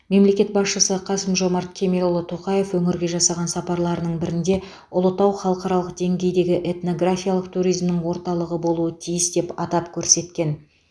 мемлекет басшысы қасым жомарт кемелұлы тоқаев өңірге жасаған сапарларының бірінде ұлытау халықаралық деңгейдегі этнографиялық туризмнің орталығы болуы тиіс деп атап көрсеткен болатын